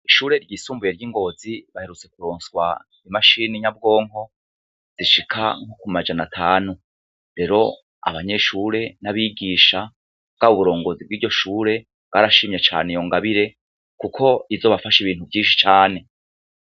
Ishure ryisumbuye ryingozi baherutse kuronswa imashini nyabwonko zishika kumajana atanu rero abanyeshure n'abigisha bwaba uburongozi bwiryo shure bwarashimye cane iyo ngabire kuko izobafasha ibintu vyinshi cane.